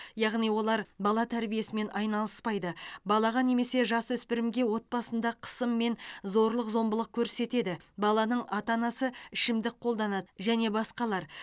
яғни олар бала тәрбиесімен айналыспайды балаға немесе жасөспірімге отбасында қысым мен зорлық зомбылық көрсетеді баланың ата анасы ішімдік қолданады және басқалар